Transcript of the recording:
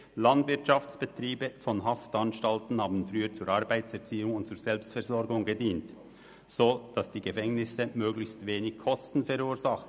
Landwirtschaftsbetriebe von Haftanstalten dienten früher zur Arbeitserziehung und zur Selbstversorgung, sodass die Gefängnisse möglichst wenige Kosten verursachten.